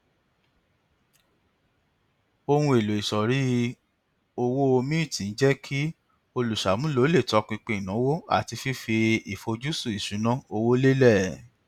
ohun èlò ìsọrí owó mint ń jẹ kí olùṣàmúlò lè tọpinpin ìnáwó àti fífi àfojúsùn ìṣúnná owó lélẹ